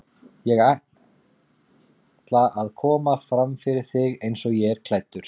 Ég ætla að koma fram fyrir þig eins og ég er klæddur.